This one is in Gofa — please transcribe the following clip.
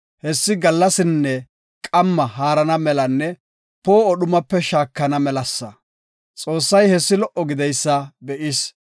Hessi, gallasinne qamma haarana melanne poo7o dhumape shaakana melasa. Xoossay hessi lo77o gididaysa be7is.